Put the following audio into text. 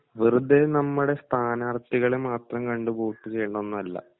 വെറുതെ നമ്മുടെ സ്ഥാനാർഥികളെ മാത്രം കണ്ട് വോട്ട് ചെയ്യണംന്നല്ല